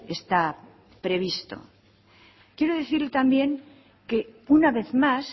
está previsto quiero decir también que una vez más